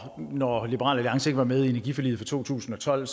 når liberal alliance ikke var med i energiforliget fra to tusind og tolv